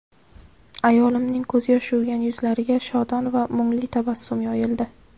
Ayolimning ko‘zyosh yuvgan yuzlariga shodon va mungli tabassum yoyildi.